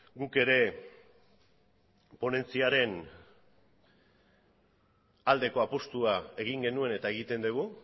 guk ere ponentziaren aldeko apustua egin genuen eta egiten dugu